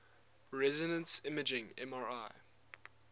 resonance imaging mri